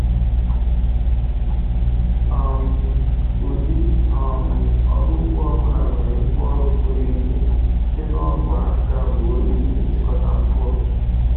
um Ụdị um ọrụ ugbo ọ bụla nwere ngwaọrụ pụrụ iche, site na ọgụ aka ruo igwe nchịkọta mkpụrụ.